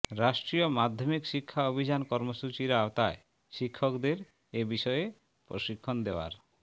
রাষ্ট্রীয় মাধ্যমিক শিক্ষা অভিযান কর্মসূচির আওতায় শিক্ষকদের এ বিষয়ে প্রশিক্ষণ দেওয়ার